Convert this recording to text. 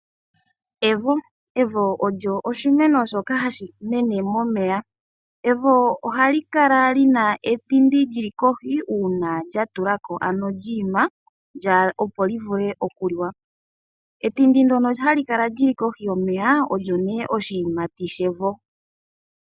Evo olyo oshimeno shoka hashimene momeya. Evo ohali kala lina etindi lili kohi uuna lyi ima opo livule okuliwa. Etindi ndono hali kala lili kohi yomeya olyo nee oshiyimati shevo.